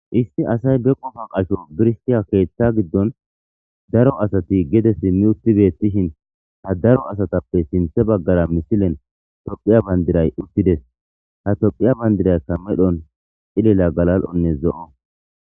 Issi asay be qofa qasho birstiya keeththa giddon daro asati gede simmi utti bettishin ha daro asatappe sinthe baggara misilen tophiya bandiray uttides ha tophiya bandiraykka medhon cilela galal7onne zo'o.